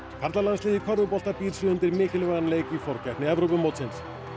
karlalandsliðið í körfubolta býr sig undir mikilvægan leik í forkeppni Evrópumótsins